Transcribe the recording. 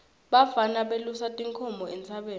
bafana belusa tinkhomo entsabeni